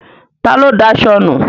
Ta ló daṣọ nu?